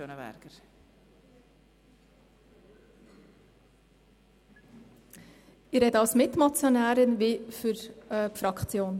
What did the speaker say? Ich spreche sowohl als Mitmotionärin als auch für die Fraktion.